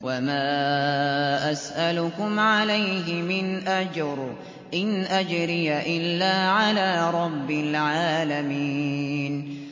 وَمَا أَسْأَلُكُمْ عَلَيْهِ مِنْ أَجْرٍ ۖ إِنْ أَجْرِيَ إِلَّا عَلَىٰ رَبِّ الْعَالَمِينَ